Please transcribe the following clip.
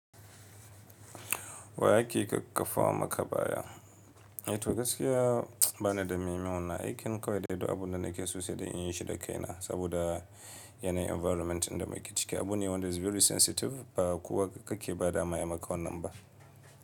Wa yake ƙakƙafa maka baya? Eh to gaskiya ba ni da memin, wannan aikin kawai daidai abun da nake so sai da in yi shi da kaina saboda yanayin environment inda muke ciki abu ne wanda is very sensitive ba kowa kake ba da ma ayi maka wannan ba.